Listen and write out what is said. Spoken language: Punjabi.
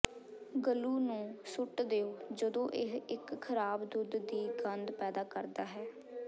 ਗਲੂ ਨੂੰ ਸੁੱਟ ਦਿਓ ਜਦੋਂ ਇਹ ਇੱਕ ਖਰਾਬ ਦੁੱਧ ਦੀ ਗੰਧ ਪੈਦਾ ਕਰਦਾ ਹੈ